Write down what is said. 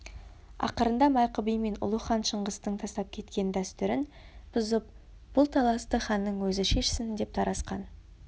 ақырында майқы би мен ұлы хан шыңғыстың тастап кеткен дәстүрін бұзып бұл таласты ханның өзі шешсін деп тарасқан